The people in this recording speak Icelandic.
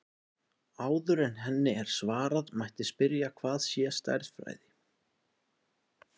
Áður en henni er svarað mætti spyrja hvað sé stærðfræði.